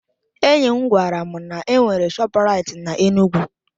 Enyi m gwara m na-enwere Shọpraịt n'Enugwu